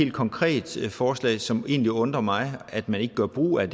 et konkret forslag som det egentlig undrer mig at man ikke gør brug af